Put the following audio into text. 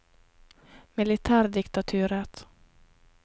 militærdiktaturet